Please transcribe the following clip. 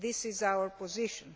That is our position.